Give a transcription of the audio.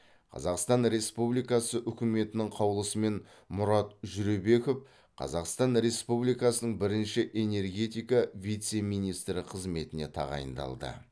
қазақстан республикасы үкіметінің қаулысымен мұрат жүребеков қазақстан республикасының бірінші энергетика вице министрі қызметіне тағайындалды